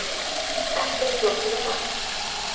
Ekkert flókið við það.